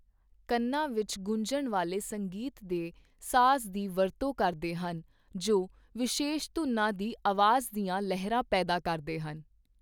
ਕੰਨਾਂ ਵਿਚ ਗੁੰਜਣ ਵਾਲੇ ਸੰਗੀਤ ਦੇ ਸਾਜ਼ ਦੀ ਵਕਤੋਂ ਕਰਦੇ ਹਨ ਜੋ ਵਿਸ਼ੇਸ਼ ਧੁਨਾਂ ਦੀ ਆਵਾਜ਼ ਦੀਆਂ ਲਹਿਰਾਂ ਪੈਦਾ ਕਰਦੇ ਹਨ।